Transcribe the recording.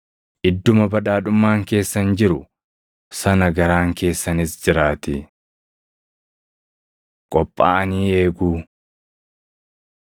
Idduma badhaadhummaan keessan jiru sana garaan keessanis jiraatii. Qophaaʼanii Eeguu 12:35,36 kwf – Mat 25:1‑13; Mar 13:33‑37 12:39,40,42‑46 kwf – Mat 24:43‑51